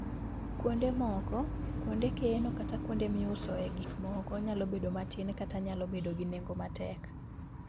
Kuonde moko, kuonde keno kata kuonde miusoe gik moko nyalo bedo matin kata nyalo bedo gi nengo matek.